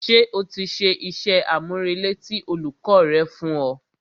Ṣé o ti ṣe iṣẹ́-àmúrelé tí olùkọ́ rẹ fún ọ?